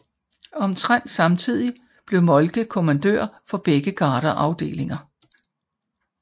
Omtrent samtidig blev Moltke kommandør for begge gardeafdelinger